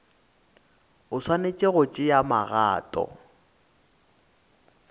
o swanetše go tšea magato